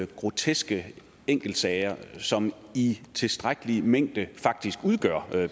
groteske enkeltsager som i tilstrækkelig mængde faktisk udgør